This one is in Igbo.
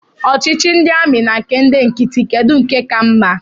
Ọchịchị ndị amị na nke ndị nkịtị, kedụ nke ka mma?